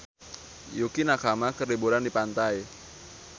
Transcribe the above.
Yukie Nakama keur liburan di pantai